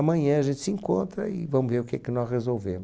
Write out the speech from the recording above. Amanhã a gente se encontra e vamos ver o que que nó resolvemo.